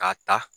K'a ta